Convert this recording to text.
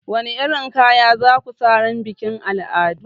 Wani irin kaya za ku sa ranar bikin al'adu?